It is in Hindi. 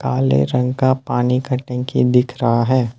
काले रंग का पानी का टंकी दिख रहा है।